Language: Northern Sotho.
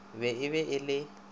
be e be e le